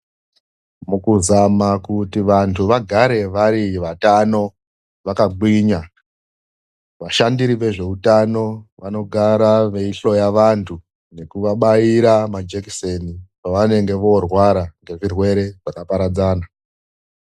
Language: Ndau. Mukuzama kuti vandu vakagare vari vatano yakagwinya, vashandiri vezveutano vanogara veihloya vandu kuvabaira majekiseni pavanenge voorwara ngezvirwere zvakaparadzana.